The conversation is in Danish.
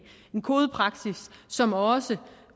en kodepraksis som også